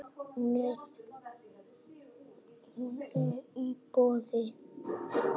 Hún er í boði.